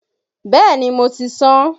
Bẹ́ẹ̀ni mo ti sán